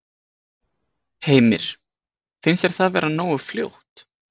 Heimir: Finnst þér það vera nógu fljótt?